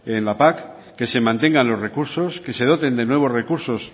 en la pac que se mantengan los recursos que se doten de nuevos recursos